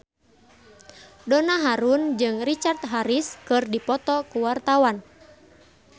Donna Harun jeung Richard Harris keur dipoto ku wartawan